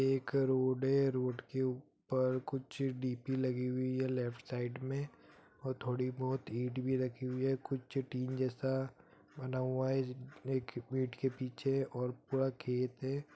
एक रोड है रोड के ऊपर कुछ डी_पी लगी हुई है लेफ्ट साइड में और थोड़ी बोहोत ईंट भी रखी हुई है कुछ टीन जैसा बना हुआ है एक ईंट के पीछे और पूरा खेत है।